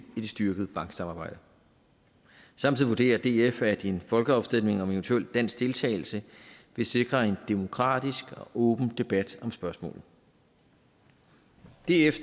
i det styrkede banksamarbejde samtidig vurderer df at en folkeafstemning om eventuel dansk deltagelse vil sikre en demokratisk og åben debat om spørgsmålet df